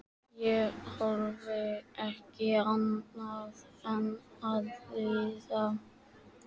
Ég þorði ekki annað en að hlýða.